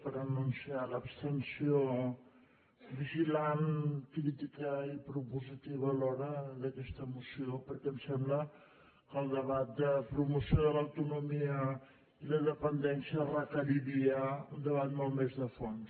per anunciar l’abstenció vigilant crítica i propositiva alhora d’aquesta moció perquè em sembla que el debat de promoció de l’autonomia i la dependència requeriria un debat molt més de fons